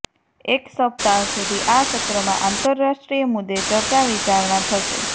એક સપ્તાહ સુધી આ સત્રમાં આંતરરાષ્ટ્રીય મુદ્દે ચર્ચા વિચારણા થશે